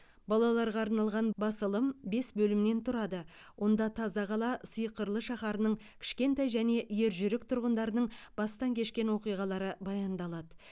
балаларға арналған басылым бес бөлімнен тұрады онда таза қала сиқырлы шаһарының кішкентай және ержүрек тұрғындарының бастан кешкен оқиғалары баяндалады